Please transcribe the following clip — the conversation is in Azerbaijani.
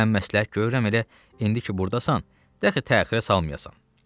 Mən məsləhət görürəm elə indiki burdasan, de axı təxirə salmayasan.